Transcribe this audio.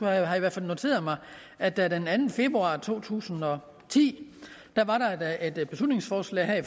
jeg i hvert fald noteret mig at der den anden februar to tusind og ti var et beslutningsforslag